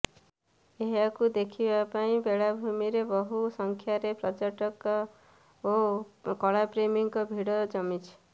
ଏହାକୁ ଦେଖିବା ପାଇଁ ବେଳାଭୂମିରେ ବହୁ ସଂଖ୍ୟାରେ ପର୍ଯ୍ଯଟକ ଓ କଳାପ୍ରେମୀଙ୍କ ଭିଡ ଜମିଛି